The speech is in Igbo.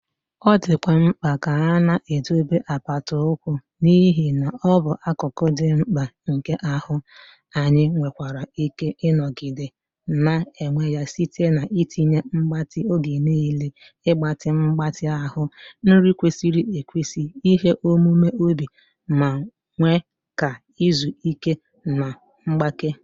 Ọ dịkwa mkpa ka a na-edobe apata ụkwụ n'ihi na ọ bụ akụkụ dị mkpa nke ahụ, anyị nwekwara ike ịnọgide na-enwe ya site na: itinye mgbatị oge niile, ịgbatị mgbatị ahụ, nri kwesịrị ekwesị, ihe omume obi, ma kwe ka izu ike na mgbake.